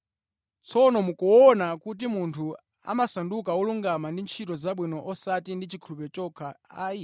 Tsono mukuona kuti munthu amasanduka wolungama ndi ntchito zabwino osati ndi chikhulupiriro chokha ayi.